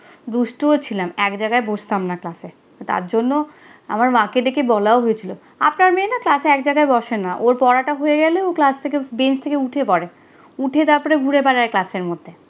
দুষ্টুও ছিলাম। এক জায়গায় বসতাম না ক্লাসে। তার জন্য আমার মাকে ডেকে বলাও হয়েছিল। আপনার মেয়ে না ক্লাসে এক জায়গায় বসে না, ওর পড়াটা হয়ে গেলে ও ক্লাস থেকে, বেঞ্চ থেকে উঠে পরে, উঠে তারপরে ঘুরে বেড়ায় ক্লাসের মধ্যে।